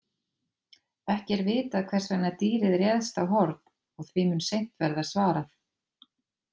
Ekki er vitað hvers vegna dýrið réðst á Horn og því mun seint verða svarað.